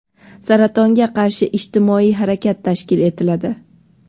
saratonga qarshi ijtimoiy harakat tashkil etiladi.